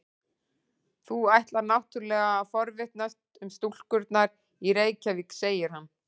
Þú ætlar náttúrlega að forvitnast um stúlkurnar í Reykjavík, segir hann.